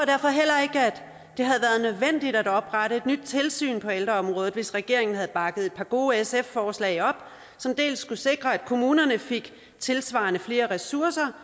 jeg det havde været nødvendigt at oprette et nyt tilsyn på ældreområdet hvis regeringen havde bakket et par gode sf forslag op som dels skulle sikre at kommunerne får tilsvarende flere ressourcer